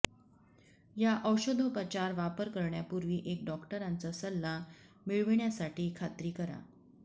या औषधोपचार वापर करण्यापूर्वी एक डॉक्टरांचा सल्ला मिळविण्यासाठी खात्री करा